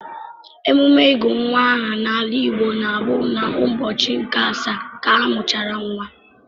Emume ịgụ nwa aha n'ala Igbo na-abụ n'ụbọchị nke asaa ka a mụchara nwa.